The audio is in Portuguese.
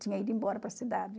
Tinha ido embora para a cidade.